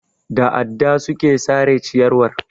Da adda suka sare ciyarwar.